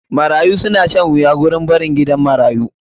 Marayu na shan wuya wurin barin gidan marayu.